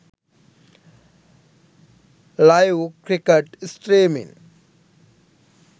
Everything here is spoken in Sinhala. live cricket streaming